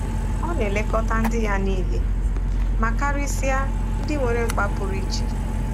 Ọ na-elekọta ndị ya nile — ma karịsịa ndị nwere mkpa pụrụ iche.